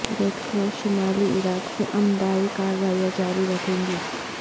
red Cross شمالی Iraq میں امدائی کارروائیاں جاری رکھے گی